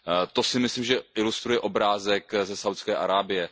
To si myslím, že ilustruje obrázek ze Saúdské Arábie.